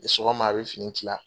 Sɔgɔma a bɛ fini tila.